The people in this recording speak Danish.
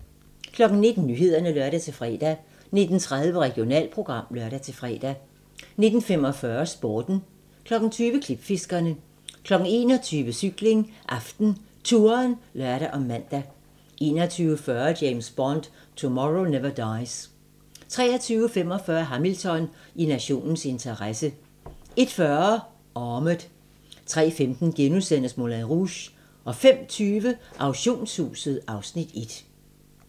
19:00: Nyhederne (lør-fre) 19:30: Regionalprogram (lør-fre) 19:45: Sporten 20:00: Klipfiskerne 21:00: Cykling: AftenTouren (lør og man) 21:40: James Bond: Tomorrow Never Dies 23:45: Hamilton: I nationens interesse 01:40: Armored 03:15: Moulin Rouge * 05:20: Auktionshuset (Afs. 1)